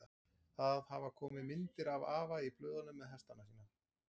Það hafa komið myndir af afa í blöðunum með hestana sína.